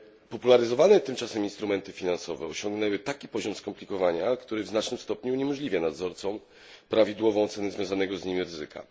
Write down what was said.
Popularyzowane tym czasem instrumenty finansowe osiągnęły taki poziom skomplikowania, który w znacznym stopniu uniemożliwia nadzorcom prawidłową ocenę związanego z nimi ryzyka.